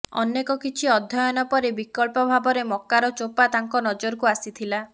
ଅନେକ କିଛି ଅଧ୍ୟୟନ ପରେ ବିକଳ୍ପ ଭାବରେ ମକାର ଚୋପା ତାଙ୍କ ନଜରକୁ ଆସିଥିଲା